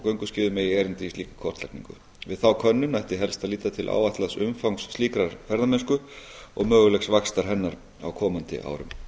gönguskíðum eigi erindi í slíka kortlagningu við þá könnun ætti helst að líta til áætlaðs umfangs slíkrar ferðamennsku og mögulegs vaxtar hennar á komandi árum